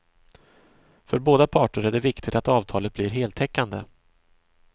För båda parter är det viktigt att avtalet blir heltäckande.